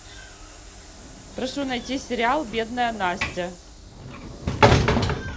прошу найти сериал бедная настя